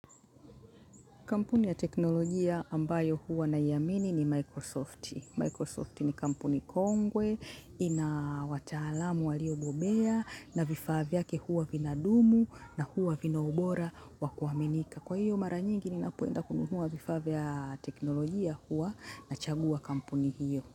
Kampuni ya teknolojia ambayo huwa naiamini ni Microsoft. Microsoft ni kampuni kongwe, ina wataalamu waliobobea, na vifaa vyake huwa vinadumu, na huwa vina ubora wa kuaminika kwa hiyo mara nyingi ninapoenda kununua vifaa vya teknolojia huwa nachagua kampuni hiyo.